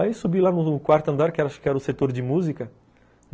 Aí subi lá no quarto andar, que eu acho que era o setor de música.